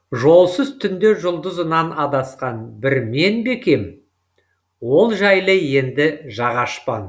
жолсыз түнде жұлдызынан адасқан бір мен бе екем ол жайлы енді жақ ашпан